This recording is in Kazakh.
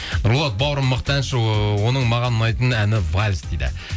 нұрболат бауырым мықты әнші ыыы оның маған ұнайтын әні вальс дейді